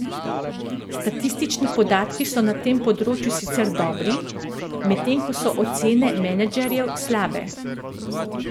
Statistični podatki so na tem področju sicer dobri, medtem ko so ocene menedžerjev slabe.